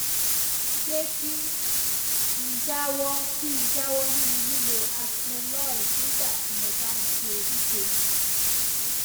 ṣé kí n jáwọ kí n jáwọ nínú lílo atenolol nígbà tí mo bá ń ṣe ekg